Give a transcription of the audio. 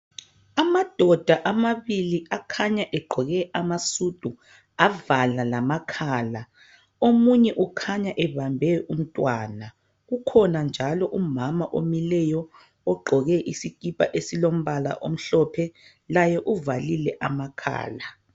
Amadoda amabili akhanya egqoke amasudu, avala lamakhala. Omunye ukhanya ebambe umntwana. Kukhona njalo umama omileyo ogqoke isikipa esilombala omhlophe, laye uvalile amakhala.